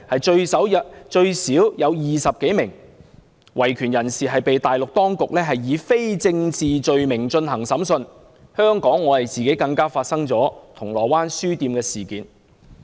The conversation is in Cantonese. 最少有20多名維權人士被大陸當局以非政治罪名進行審訊，本港更發生銅鑼灣書店事件。